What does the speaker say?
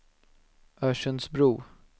Örsundsbro